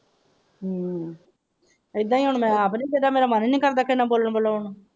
ਇਹਦਾ ਹੀ ਹੁਣ ਮੈਂ ਆਪ ਹੀ ਮੇਰਾ ਮਨ ਹੀ ਨਹੀਂ ਕਰਦਾ ਕਿਸੇ ਨਾਲ ਬੋਲਣ ਬੋਲਣਾ ਨੂੰ।